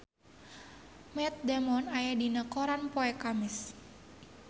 Matt Damon aya dina koran poe Kemis